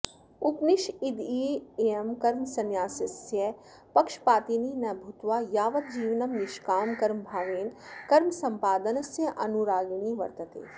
उपनिषदियं कर्मसंन्यासस्य पक्षपातिनी न भूत्वा यावज्जीवनं निष्कामकर्मभावेन कर्मसम्पादनस्य अनुरागिणी वर्तते